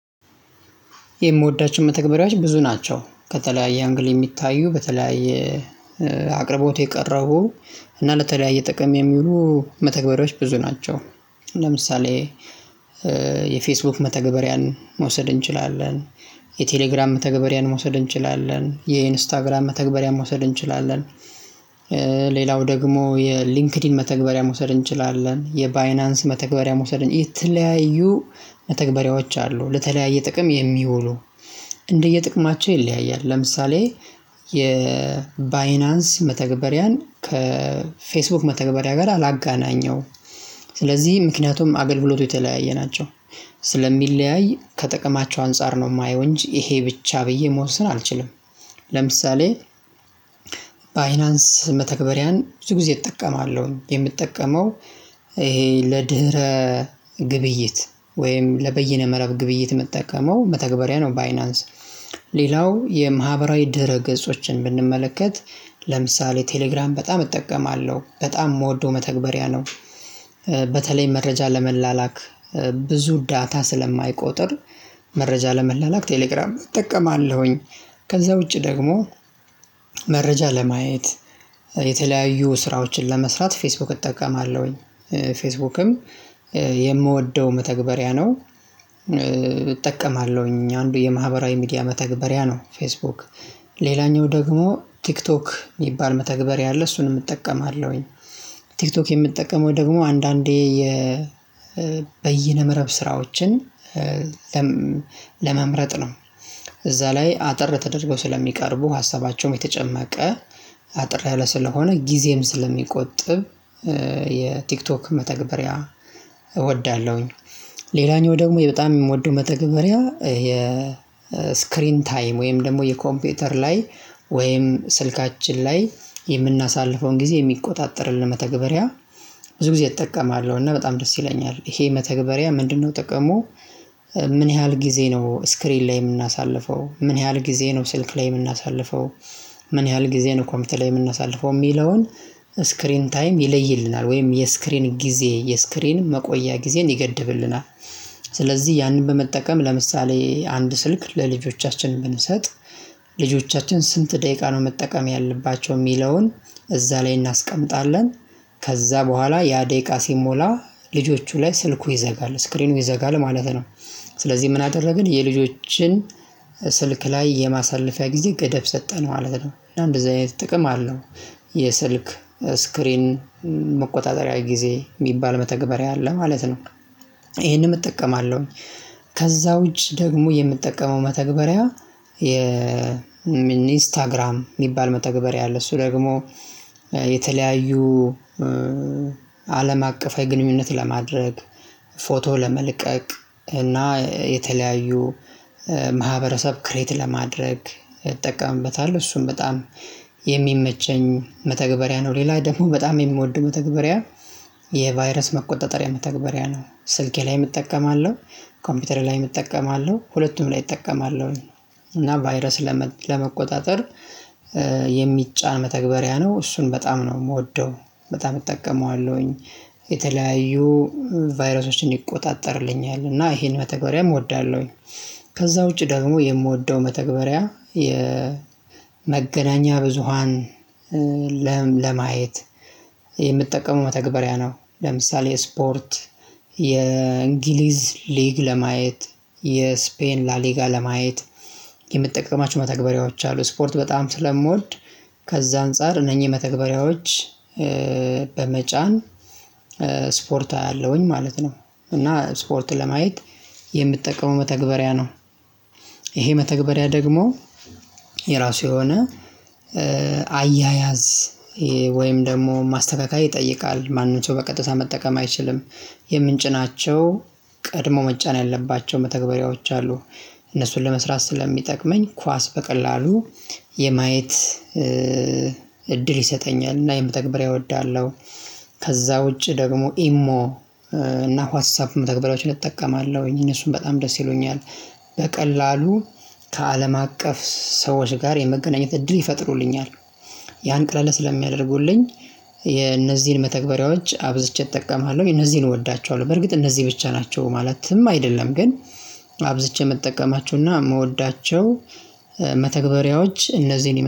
የምወዳቸው መተግበሪያች ብዙ ናቸው ከተለያየ አንግል የሚታዩ በተለያየ አቅርቦት የቀረቡ እና ለተለያየ ጥቅም የሚውሉ መተግበሪያዎች ብዙ ናቸው። ለምሳሌ የፌስቡክ መተግበሪያን መውሰድ እንችላለን። የቴሌግራም መተግበሪያን መውሰድ እንችላለን የኢንስታግራም መተግበሪያ መውሰድ እንችላለን። ሌላው ደግሞ የሊንክድኢን መተግበሪያ መውሰድ እንችላለን የባይናንስ መተግበሪያ መውሰድ የተለያዩ መተግበሪያዎች አሉ ለተለያየ ጥቅም የሚውሉ እንደየጥቅማቸው ይለያያል ለምሳሌ የባይናንስ መተግበሪያን ከፌስቡክ መተግበሪያ ጋር አላገናኘውም። ስለዚህ ምክንያቱም አገልግሎቱ የተለያየ ናቸው ስለሚለያይ ከጥቅማቸው አንፃር ነው የማየው እንጂ ይሄ ብቻ ብዬ መወ ሰን አልችልም። ለምሳሌ ባይናንስ መተግበሪያን ብዙ ጊዜ እጠቀማለሁ የምጠቀመው ይሄ ለድህረ ግብይት ወይም ለበይነ መረብ ግብይት የምጠቀመው መተግበሪያ ነው። ባይናንስ ሌላው የማህበራዊ ድህረ ገጾችን ብንመለከት ለምሳሌ ቴሌግራም በጣም እጠቀማለሁ በጣም የምወደው መተግበሪያ ነው። በተለይ መረጃ ለመላላክ ብዙ ዳታ ስለማይቆጥር መረጃ ለመላላክ ቴሌግራም እጠቀማለሁኝ። ከዛ ውጪ ደግሞ መረጃ ለማየት የተለያዩ ስራዎችን ለመስራት ፌስቡክ እጠቀማለሁኝ። ፌስቡክም የምወደው መተግበሪያ ነው። እጠቀማለሁኝ አንዱ የማህበራዊ ሚዲያ መተግበሪያ ነው ፌስቡክ ሌላኛው ደግሞ ቲክቶክ የሚባል መተግበሪያ አለ እሱንም እጠቀማለሁኝ። ቲክቶክ የምጠቀመው ደግሞ አንዳንዴ የ በይነመረብ ስራዎችን ለም ለመምረጥ ነው። እዛ ላይ አጠር ተደርገው ስለሚቀርቡ ሀሳባቸውም የተጨመቀ አጠር ያለ ስለሆነ ጊዜም ስለሚቆጥብ የቲክቶክ መተግበሪያ እወዳለሁኝ። ሌላኛው ደግሞ የበጣም የምወደው መተግበሪያ የ ስክሪን ታይም ወይም ደግሞ የኮምፒውተር ላይ ወይም ስልካችን ላይ የምናሳልፈውን ጊዜ የሚቆጣጠርልን መተግበሪያ። ብዙ ጊዜ እጠቀማለሁ እና በጣም ደስ ይለኛል ይሄ መተግበሪያ ምንድንነው ጥቅሙ? ምን ያህል ጊዜ ነው ስክሪን ላይ የምናሳልፈው ምን ያህል ጊዜ ነው ስልክ ላይ የምናሳልፈው? ምን ያህል ጊዜ ነው ኮምፒውተር ላይ የምናሳልፈው የሚለውን? ስክሪን ታይም ይለይልናል ወይም የስክሪን ጊዜ የስክሪን መቆያ ጊዜን ይገድብልናል። ስለዚህ ያንን በመጠቀም ለምሳሌ አንድ ስልክ ለልጆቻችን ብንሰጥ ልጆቻችን ስንት ደቂቃ ነው መጠቀም ያለባቸው የሚለውን እዛ ላይ እናስቀምጣለን። ከዛ በኋላ ያ ደቂቃ ሲሞላ ልጆቹ ላይ ስልኩ ይዘጋል ስክሪኑ ይዘጋል ማለት ነው። ስለዚህ ምን አደረግን የልጆችን ስልክ ላይ የማሳለፊያ ጊዜ ገደብ ሰጠነው ማለት ነው። እና እንደዚህ አይነት ጥቅም አለው። የስልክ ስክሪን መቆጣጠሪያ ጊዜ የሚባል መተግበሪያ አለ ማለት ነው። ይሄንም እጠቀማለሁኝ። ከዛ ውጪ ደግሞ የምጠቀመው መተግበሪያ የሚኒ ስታግራም የሚባል መተግበሪያ አለ እሱ ደግሞ የተለያዩ አለም አቀፋዊ ግንኙነት ለማድረግ ፎቶ ለመልቀቅ እና የተለያዩ ማህበረሰብ ክሬት ለማድረግ እጠቀምበታለሁ እሱም በጣም የሚመቸኝ መተግበሪያ ነው። ሌላ ደግሞ በጣም የምወደው መተግበሪያ የቫይረስ መቆጣጠሪያ መተግበሪያ ነው። ስልኬ ላይም እጠቀማለሁ ኮምፒውተሬ ላይም እጠቀማለሁ ሁለቱም ላይ እጠቀማለሁኝ። እና ቫይረስ ለመ ለመቆጣጠር የሚጫን መተግበሪያ ነው። እሱን በጣም ነው የምወደው በጣም እጠቀመዋለሁኝ የተለያዩ ቫይራሶችን ይቆጣጠርልኛል እና ይሄን መተግበሪያም እወዳለሁኝ። ከዛ ውጪ ደግሞ የምወደው መተግበሪያ የመገናኛ ብዙሃን ለም ለማየት የምጠቀመው መተግበሪያ ነው። ለምሳሌ ስፖርት የእንግሊዝ ሊግ ለማየት የስፔን ላሊጋ ለማየት የምጠቀማቸው መተግበሪያዎች አሉ ስፖርት በጣም ስለምወድ ከዛ አንፃር እነኚህ መተግበሪያዎች በመጫን ስፖርት አያለሁኝ ማለት ነው። እና ስፖርት ለማየት የምጠቀመው መተግበሪያ ነው። ይሄ መተግበሪያ ደግሞ የራሱ የሆነ አያያዝ ወይም ደግሞ ማስተካከል ይጠይቃል ማንም በቀጥታ መጠቀም አይችልም። የምንጭናቸው ቀድሞ መጫን ያለባቸው መተግበሪያዎች አሉ። እነሱን ለመስራት ስለሚጠቅመኝ ኳስ በቀላሉ የማየት እድል ይሰጠኛል እና ይህን መተግበሪያ እወዳለሁ። ከዛ ውጪ ደግሞ ኢሞ እና ዋትስ አፕ መተግበሪያዎችን እጠቀማለሁኝ እነሱን በጣም ደስ ይሉኛል። በቀላሉ ከአለም አቀፍ ሰዎች ጋር የመገናኘት እድል ይፈጥሩልኛል። ያን ቀለል ስለሚያደርጉልኝ የነዚህን መተግበሪያዎች አብዝቼ እጠቀማለሁ እነዚህን እወዳቸዋለሁ። በርግጥ እነዚህ ብቻ ናቸው ማለትም አይደለም ግን አብዝቼ የምጠቀማቸውና የምወዳቸው መተግበሪያዎች እነዚህን